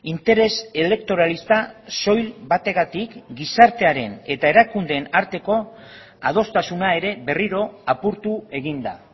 interes elektoralista soil bategatik gizartearen eta erakundeen arteko adostasuna ere berriro apurtu egin da